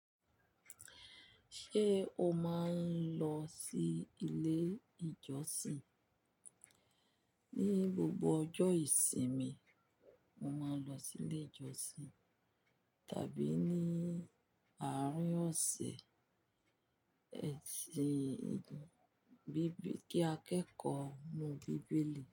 Ṣé o máa ń lọ sí ilé ìjọsìn? Ni gbogbo ọjọ́ ìsinmi, mo máa ń lọ sí ilé ìjọsìn tàbí ní àárín ọ̀sẹ̀, ẹ̀sìn kí akẹ́kọ̀ọ́ mọ Bíbélì.